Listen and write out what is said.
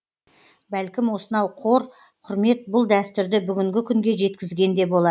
бәлкім осынау қор құрмет бұл дәстүрді бүгінгі күнге жеткізген де болар